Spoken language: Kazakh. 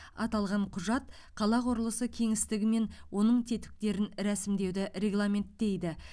аталған құжат қала құрылысы кеңістігі мен оның тетіктерін рәсімдеуді регламенттейді